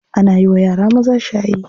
Ana yiwa yara maza shayi.